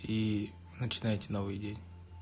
и начинается новый день